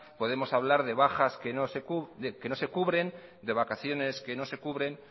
podemos hablar de bajas que no se cubren de vacaciones que no se cubren